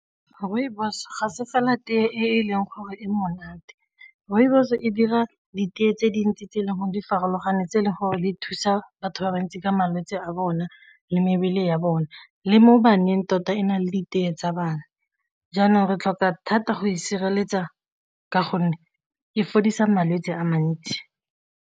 Rooibos ga se fela teye e leng gore e monate, rooibos e dira ditee tse dintsi tse e leng gore di farologane tse e leng gore di thusa batho ba bantsi ka malwetse a bone le mebele ya bone, le mo baneng tota e na le ditee tsa bana. Jaanong re tlhoka thata go e sireletsa ka gonne e fodisa malwetsi a mantsi.